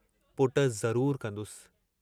पुट ज़रूर कंदुसि।